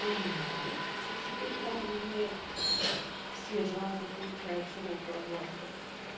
поменяли и теперь там не все жанры получают широкую огласку